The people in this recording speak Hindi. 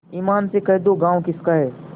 ईमान से कह दो गॉँव किसका है